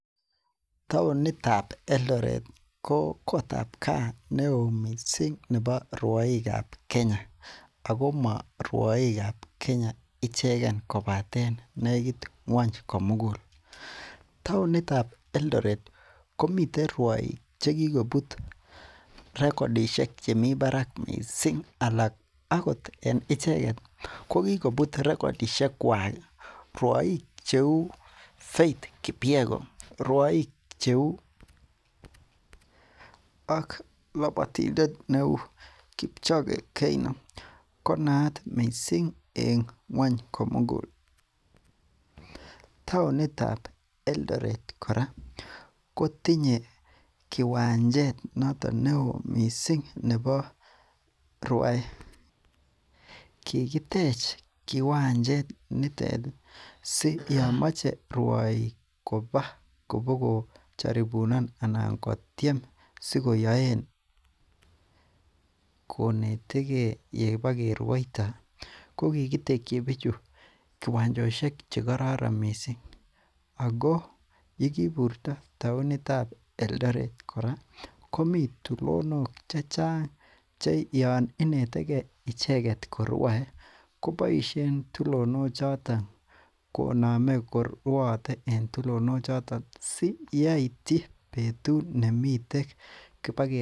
Taonitab Eldoret ko kotab kaa neo missing en rwaikab Kenya, Ako ma rwaikab Kenya ichegen. Kobaten negiit ng'uny komugul, taonit tab Eldoret komiten rwaik chekikobut rekodishekuak missing anan akot en icheket kokikobut rekodishekuak ruaik cheuu faith kipyego, ak labotindet neuu kipchoge Keino konaat missing en ngua'ny komugul, taonitab Eldoret kora kotinye kiwanjet noton neoo missing neboo rwaet, kikitech kiwanjet nitet SI yomoche ruaik kobaa kobogotiem sikoyorn konetege ibakeruuaitoo, kokikitekyi bichu kiwachosiek chekororon missing ako yekiburta taonitab Eldoret komi tulinok checheng che Yoon inetekei icheket ko rwaet kobsishen tulinok choto , konamei koruate en tulinok choto SI yaityi betut nemiten kibage.